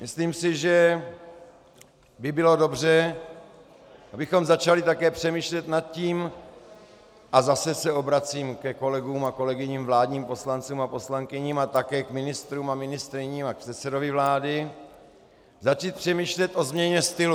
Myslím si, že by bylo dobře, abychom začali také přemýšlet nad tím, a zase se obracím ke kolegům a kolegyním vládním poslancům a poslankyním a také k ministrům a ministryním a k předsedovi vlády, začít přemýšlet o změně stylu.